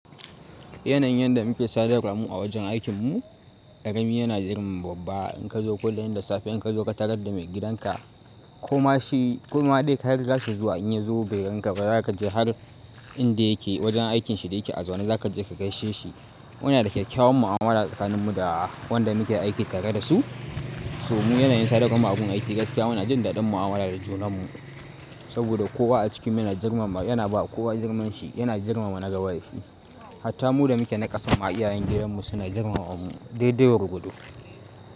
Yanayin yadda muke sadarwa mu a wajen aikinmu ƙarami yana jarum baɓba. In ka zo kullum da safe in ka zo ka tarar da maigidanka ko ma shi ko ma dai kai zasu zo in ya zo birin ka zaka je har inda yake wajen aikinshi da yake azumi zaka je ka gaishe shi. Muna da kyakkyawan mu'amala tsakaninmu da wanda muke aiki tare da su. So mu yanayin sadarwar mu a gun aiki gaskiya muna jin daɗin mu'amala da junanmu saboda kowa a cikinmu yana girmama yana bawa kowa girmanshi yana girmama nagaba da shi. Hatta mu da muke na ƙasa ma iyayen gidanmu suna girmama mu daidai gurgwado.